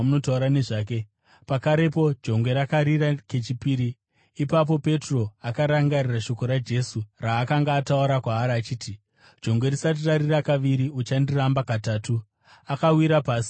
Pakarepo jongwe rakarira kechipiri. Ipapo Petro akarangarira shoko raJesu raakanga ataura kwaari achiti, “Jongwe risati rarira kaviri uchandiramba katatu.” Akawira pasi uye akachema.